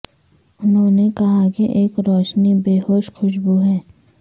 انہوں نے کہا کہ ایک روشنی بیہوش خوشبو ہے